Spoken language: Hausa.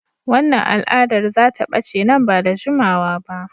Wannan al'adar za ta bace nan ba da jimawa ba.